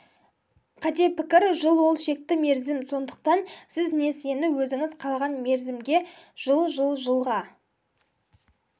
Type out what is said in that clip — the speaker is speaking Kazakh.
қате пікір жыл ол шекті мерзім сондықтан сіз несиені өзіңіз қалаған мерзімге жыл жыл жылға